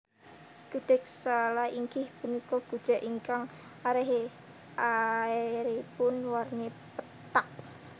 Gudheg Sala inggih punika gudheg ingkang arèhipun warni pethak